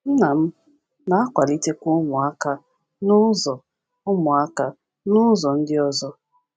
Nna m na-akwalitekwa ụmụaka n’ụzọ ụmụaka n’ụzọ ndị ọzọ.